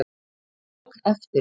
Ég tók eftir því.